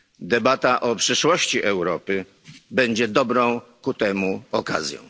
Debata o przyszłości Europy będzie dobrą ku temu okazją.